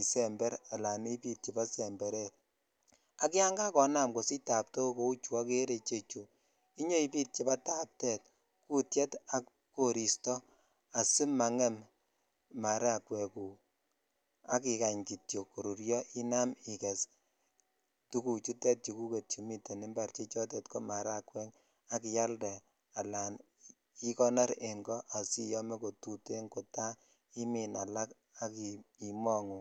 isember ala ibit chebo semberet ak yan kakonam kosich taptok kou chu okeree ichechu inyoibit chebo taptet ,kutye ak koristo asimangem maragwek guk qk ikany kityok koruryo inam iges tuguchutet chuguk chemiten impar che chotet ko maragwek ak ak ialde alan ikonor en ko asiyome kotuten kotaimin alak ak imongu.